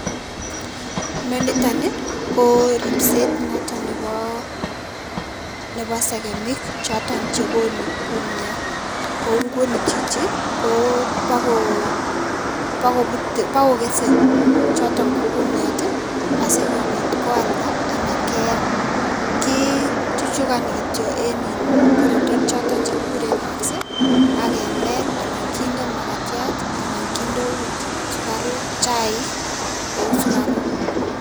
Nitoni ko ripset noto nebo sekemik choton chekonu kumiat , ko nguni chichi kopakokesei choton ko kumiat asikopit kealda anan keam. Kichuchukani kityo eng korotwek choto chekikure wax akemel anan kinde makatiat anan akot chaik kou sukaruk.